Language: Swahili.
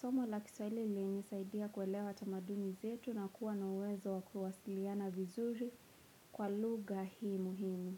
Soma la kiswaili lilinisaidia kuelewa tamaduni zetu na kuwa na uwezo wa kuwasiliana vizuri kwa luga hii muhimu.